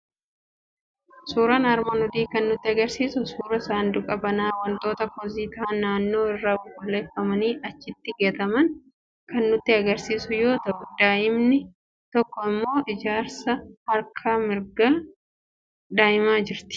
Suuraan armaan olii kan nutti argisiisu suuraa sanduuqa banaa wantoota kosii ta'an naannoo irraa qulqulleeffamanii achitti gataman kan nutti argisiisu yoo ta'u, daa'imni tokko immoo jkaraa harka mirgaa daa'imaa jirti